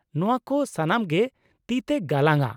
ᱱᱚᱶᱟ ᱠᱚ ᱥᱟᱱᱟᱢ ᱜᱮ ᱛᱤᱛᱮ ᱜᱟᱞᱟᱝ ᱟᱜ ᱾